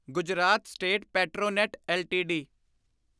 Gujarat state Petronet LTD